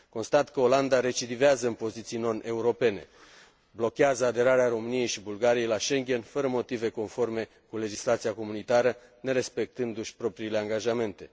Constat că Olanda recidivează în poziții noneuropene blochează aderarea României și Bulgariei la Schengen fără motive conforme cu legislația comunitară, nerespectându și propriile angajamente.